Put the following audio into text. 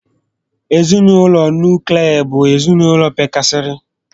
Ezinaụlọ nuklia bụ ezinaụlọ pekarịsịrị